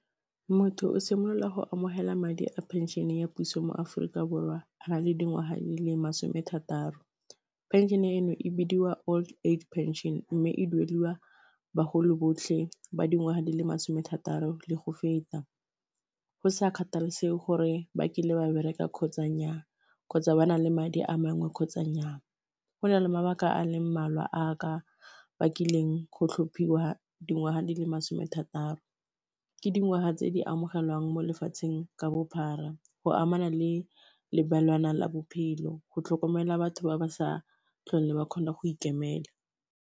Motho o simolola go amogela madi a pension ya puso mo Aforika Borwa a na le dingwaga di le masome a thataro, phenšene eno e bidiwa old age pension mme e duelwa baholo botlhe ba dingwaga di le masome thataro le go feta, go sa kgathalesege gore ba kile ba bereka kgotsa nnyaa kgotsa ba na le madi a mangwe kgotsa nyaa, go na le mabaka a leng mmalwa a a ka bakileng go tlhophiwa dingwaga di le some thataro, ke dingwaga tse di amogelwang mo lefatsheng ka bophara go amana le lebelwanang la bophelo, go tlhokomela batho ba ba sa tlhole ba kgona go ikemela.